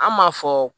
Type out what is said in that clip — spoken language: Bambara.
An m'a fɔ